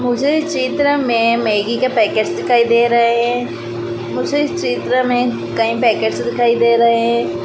मुझे इस चित्र में मैगी के पैकेट्स दिखाई दे रहे हैं मुझे इस चित्र में कई पैकेट्स दिखाई दे रहे हैं।